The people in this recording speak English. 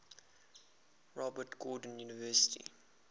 robert gordon university